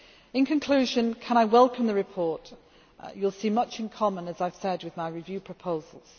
overnight. In conclusion, can I welcome the report? You will see much in common, as I have said, with my review